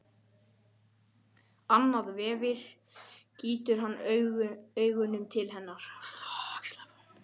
Annað veifið gýtur hann augunum til hennar.